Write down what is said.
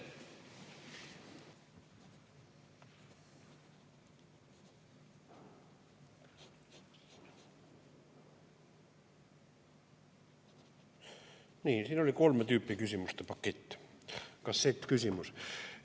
Nii, siin oli kolme tüüpi küsimuste pakett, kassettküsimus.